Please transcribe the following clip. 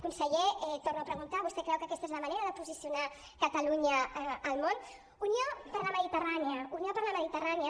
conseller torno a preguntar vostè creu que aquesta és la manera de posicionar catalunya al món unió per la mediterrània unió per la mediterrània